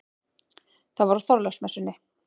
Það var á Þorláksmessunni.